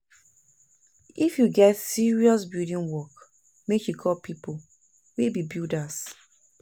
If you get serious building work, make you call pipo wey be builders.